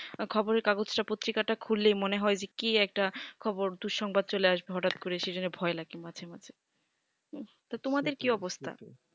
খবর এর কাগজ টা পত্রিকা টা খুললেই মনে হয় যে কে একটা খবর দুঃসংবাদ চলে আসবে হটাৎ করে সেই জন্য ভয় লাগে মাঝে মাঝে তা তোমাদের কি অবস্থা